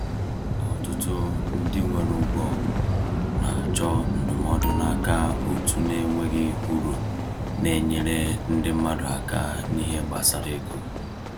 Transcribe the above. Ọtụtụ ndị nwere ụgwọ na-achọ ndụmọdụ n’aka òtù na-enweghị uru na-enyere ndị mmadụ aka n’ihe gbasara ego.